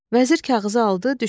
Vəzir kağızı aldı, düşdü yola.